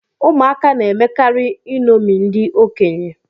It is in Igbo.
Ụmụaka na-emekarị iṅomi ndị okenye